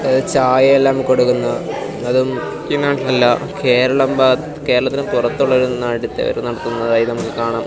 ചായ എല്ലാം കൊടുക്കുന്ന അതും മുഖ്യനാട്ടിൽ അല്ല കേരളത്തിന്റെ ഭാഗ കേരളത്തിനും പുറത്തുള്ള ഒരു നാട്ടിത്തവര് നടത്തുന്നതായിട്ട് നമുക്ക് കാണാം.